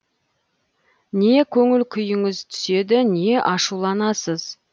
не көңіл күйіңіз түседі не ашуланасыз